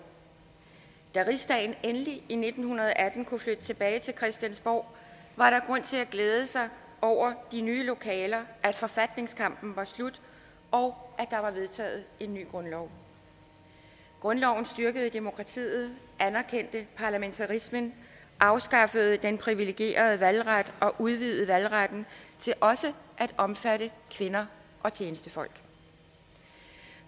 da rigsdagen endelig i nitten atten kunne flytte tilbage til christiansborg var der grund til at glæde sig over de nye lokaler at forfatningskampen var slut og at der var vedtaget en ny grundlov grundloven styrkede demokratiet anerkendte parlamentarismen afskaffede den privilegerede valgret og udvidede valgretten til også at omfatte kvinder og tjenestefolk